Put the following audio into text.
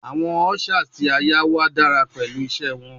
Awọn ushers ti a yá wà dara pẹlu wọn ise